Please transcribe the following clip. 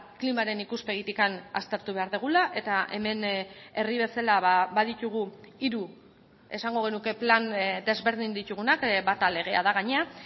klimaren ikuspegitik aztertu behar dugula eta hemen herri bezala baditugu hiru esango genuke plan desberdin ditugunak bata legea da gainera